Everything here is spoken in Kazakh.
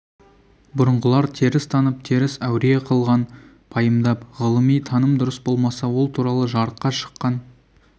бұрынғылар теріс танып теріс әуре қылған пайымдап ғылыми таным дұрыс болмаса ол туралы жарыққа шыққан